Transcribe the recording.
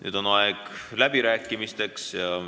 Nüüd on aeg läbirääkimisteks.